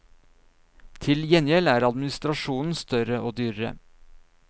Til gjengjeld er administrasjonen større og dyrere.